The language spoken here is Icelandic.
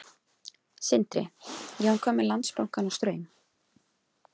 Sindri: Já, en hvað með Landsbankann og Straum?